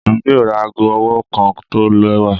Emi yoo ra aago ọwọ kan tọ lẹwa